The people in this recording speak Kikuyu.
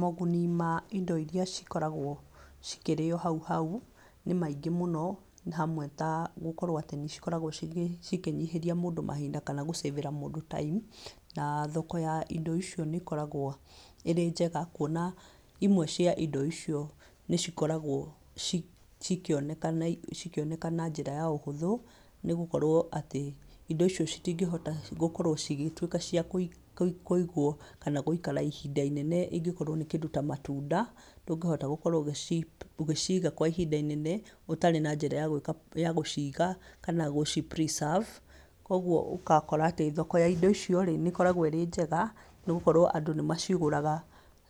Moguni ma indo iria cikoragwo cikĩrĩo hau hau, nĩ maingĩ mũno, hamwe ta gũkorwo atĩ nĩcikoragwo cikĩnyihĩria mũndũ mahinda kana gũcĩbĩra mũndũ time na thoko ya indo icio nĩ ĩkoragwo ĩrĩ njega kuona, imwe cia indo icio nĩcikoragwo cikĩonekana cikĩoneka na njĩra ya ũhũthũ, nĩgũkorwo atĩ indo icio citingĩhota gũkorwo cigĩtuĩka cia kũigwo kana gũikara ihinda inene angĩkorwo nĩ kĩndũ ta matunda, ndũngĩhota gũkorwo ũgĩciga kwa ihinda rĩnene ũtarĩ na njĩra yagwĩka, ya gũciga, kana gũci preserve koguo ũgakora atĩ thoko ya indo icio rĩ, nĩ ĩkoragwo ĩnjega, nĩgũkorwo andũ nĩmacigũraga